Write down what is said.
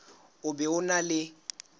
o be o na le